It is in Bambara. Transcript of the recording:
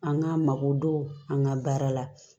An k'an mako don an ka baara la